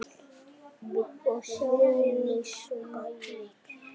Villi spjarar sig, sagði Lilli.